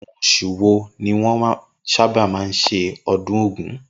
Inú os̩ù wo ni wó̩n máa ń sábà s̩e o̩dún ògún?